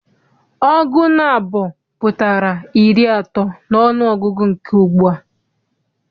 Ọgụ naabọ pụtara iri atọ n'ọnụọgụgụ nke ugbua.